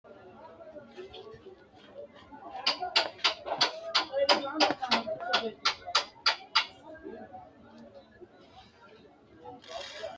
Kuni leellannohu agattote dani giddo mitto ikkanna roore woyite biira yine woshshinanni konni biirihuno su'misi habesha biira yaamamannoha ikkanna tona settu diri worihu agara difajinoyiho.